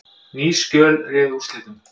Ný skjöl réðu úrslitum